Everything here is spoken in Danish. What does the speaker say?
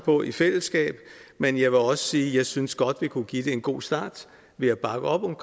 på i fællesskab men jeg vil også sige at jeg synes vi godt kunne give det en god start ved at bakke op om